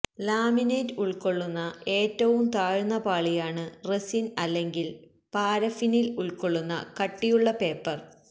laminate ഉൾക്കൊള്ളുന്ന ഏറ്റവും താഴ്ന്ന പാളിയാണ് റെസിൻ അല്ലെങ്കിൽ പാരഫിനിൽ ഉൾക്കൊള്ളുന്ന കട്ടിയുള്ള പേപ്പർ